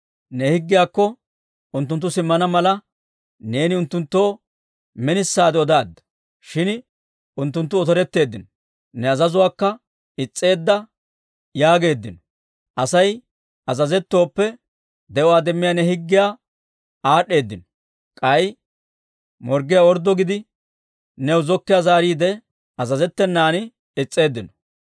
«Ne higgiyaakko unttunttu simmana mala, neeni unttunttoo minisaade odaadda; shin unttunttu otoretteeddino; ne azazuwaakka is's'eeddo yaageeddino. Asay azazettooppe de'uwaa demmiyaa ne higgiyaa aad'd'eedino; k'ay morggiyaa orddo gidi, new zokkiiyaa zaariide, azazettenan is's'eeddino.